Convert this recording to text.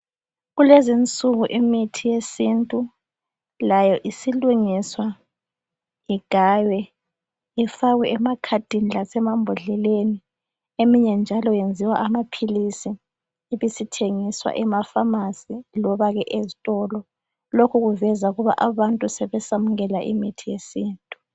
Kulezi insuku imithi yesintu layo isilungiswa igaywe ifakwe emakhadini lemambhodleleni eminye njalo yenziwa amaphilisi ibisithengiswa emaphamarcy lobake ezitolo. Lokhu kuveza ukuba abantu sebesamukela imithi yesintu